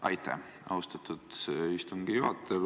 Aitäh, austatud istungi juhataja!